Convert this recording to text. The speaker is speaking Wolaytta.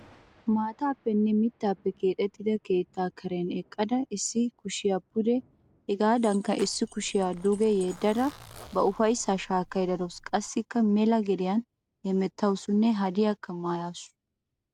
Maataappenne mittaappe keexettida keettaa karen eqqada issi kushiya pude hegaadankka qassi issi kushiya duge yeddada ba ufayssaa shaakkaydda dawusu. Qassikka mela gediyan hemettawusunne hadiyaakka maayaasu.